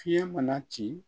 Fiɲɛ mana ci